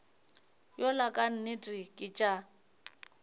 yola ka nnete ke tša